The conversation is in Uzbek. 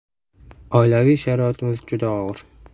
Oilaviy sharoitimiz juda og‘ir.